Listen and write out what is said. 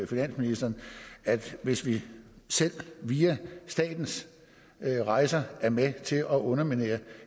finansministeren hvis vi selv via statens rejser er med til at underminere